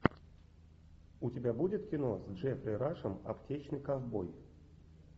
у тебя будет кино с джеффри рашем аптечный ковбой